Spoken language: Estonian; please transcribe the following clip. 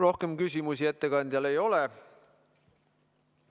Rohkem küsimusi ettekandjale ei ole.